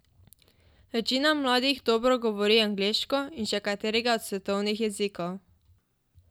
Večina mladih dobro govori angleško in še katerega od svetovnih jezikov.